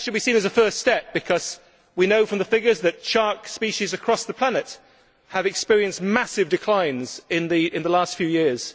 But that should be seen as a first step, because we know from the figures that shark species across the planet have experienced massive declines in the last few years.